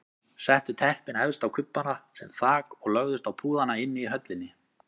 Settu teppin efst á kubbana sem þak og lögðust á púðana inni í höllinni.